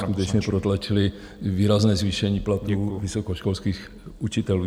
skutečně protlačili výrazné zvýšení platů vysokoškolských učitelů.